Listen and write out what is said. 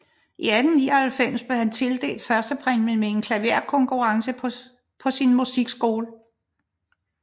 I 1899 blev han tildelt førstepræmien ved en klaverkonkurrence på sin musikskole